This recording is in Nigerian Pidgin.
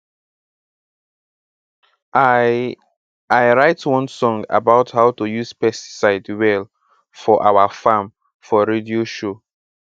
i i write one song about how to use pesticide well for our farm for radio show